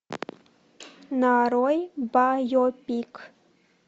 нарой байопик